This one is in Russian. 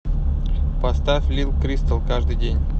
поставь лил кристал каждый день